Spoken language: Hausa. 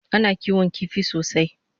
Ana kiwon kifi sosai